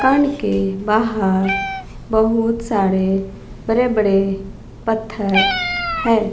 कान के बाहर बहुत सारे बड़े बड़े पत्थर है।